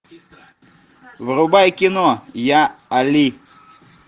врубай кино я али